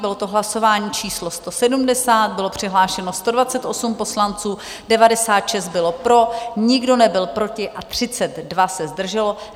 Bylo to hlasování číslo 170, bylo přihlášeno 128 poslanců, 96 bylo pro, nikdo nebyl proti a 32 se zdrželo.